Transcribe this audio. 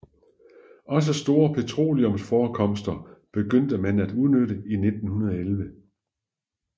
Også store petroleumforekomster begyndte man at udnytte i 1911